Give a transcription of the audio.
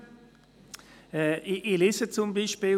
Ich lese zum Beispiel: